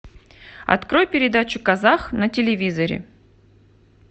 открой передачу казах на телевизоре